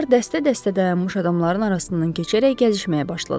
Onlar dəstə-dəstə dayanmış adamların arasından keçərək gəzişməyə başladılar.